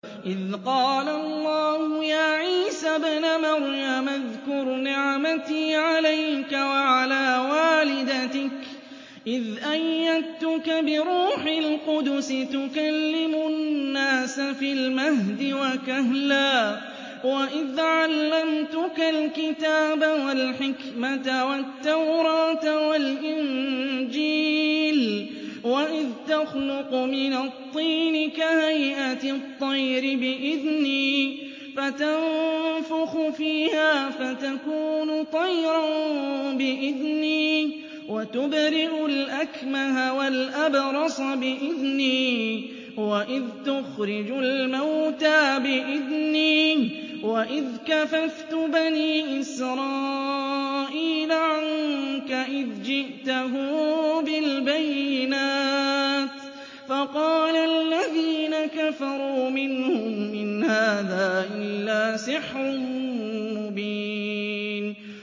إِذْ قَالَ اللَّهُ يَا عِيسَى ابْنَ مَرْيَمَ اذْكُرْ نِعْمَتِي عَلَيْكَ وَعَلَىٰ وَالِدَتِكَ إِذْ أَيَّدتُّكَ بِرُوحِ الْقُدُسِ تُكَلِّمُ النَّاسَ فِي الْمَهْدِ وَكَهْلًا ۖ وَإِذْ عَلَّمْتُكَ الْكِتَابَ وَالْحِكْمَةَ وَالتَّوْرَاةَ وَالْإِنجِيلَ ۖ وَإِذْ تَخْلُقُ مِنَ الطِّينِ كَهَيْئَةِ الطَّيْرِ بِإِذْنِي فَتَنفُخُ فِيهَا فَتَكُونُ طَيْرًا بِإِذْنِي ۖ وَتُبْرِئُ الْأَكْمَهَ وَالْأَبْرَصَ بِإِذْنِي ۖ وَإِذْ تُخْرِجُ الْمَوْتَىٰ بِإِذْنِي ۖ وَإِذْ كَفَفْتُ بَنِي إِسْرَائِيلَ عَنكَ إِذْ جِئْتَهُم بِالْبَيِّنَاتِ فَقَالَ الَّذِينَ كَفَرُوا مِنْهُمْ إِنْ هَٰذَا إِلَّا سِحْرٌ مُّبِينٌ